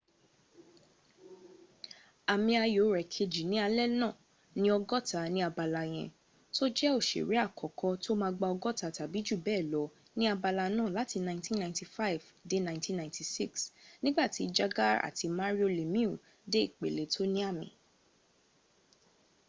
àmì ayo rẹ̀ kejì ní alé nàà ní ọgọ́ta rẹ ní abala yẹn, tó jẹ́ òṣèrè àkọ́kọ́ ;tó ma gba ọgọ́ta tàbí jù bẹ́ẹ̀ lọ ní abala náà láti 1995-96,nígbàtí jagr àti mario lemieux dé ìpèle tó ní àmì